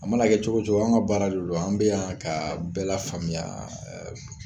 An mana kɛ cogo o cogo anw ka baara de don an bɛ yan ka bɛɛ lafaamuya